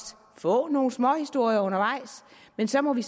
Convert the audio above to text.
få nogle småhistorier undervejs men så må vi